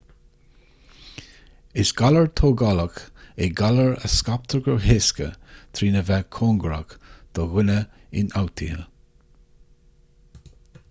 is galar tógálach é galar a scaiptear go héasca trína bheith cóngarach do dhuine ionfhabhtaithe